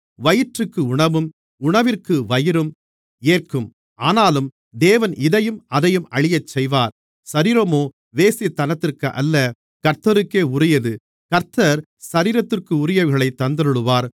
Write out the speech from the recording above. வயிற்றுக்கு உணவும் உணவிற்கு வயிறும் ஏற்கும் ஆனாலும் தேவன் இதையும் அதையும் அழியச்செய்வார் சரீரமோ வேசித்தனத்திற்கு அல்ல கர்த்தருக்கே உரியது கர்த்தர் சரீரத்திற்குரியவைகளைத் தந்தருளுவார்